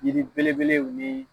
Yiri belebelew ni